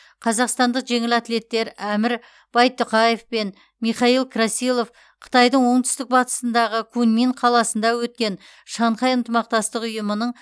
қазақстандық жеңіл атлеттер әмір байтұқаев пен михаил красилов қытайдың оңтүстік батысындағы куньмин қаласында өткен шанхай ынтымақтастық ұйымының